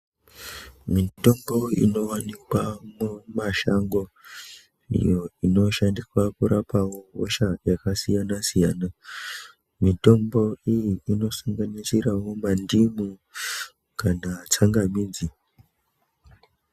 Mitombo inowanikwa mumashango iyo inoshandiswa kurapa wo hosha yakasiyanasiyana mitombo iyi inosanganisirawo mandimu kana, tsangamidzi.